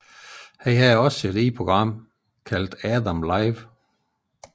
Han havde også sit eget program kaldet Adam Live